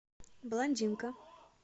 блондинка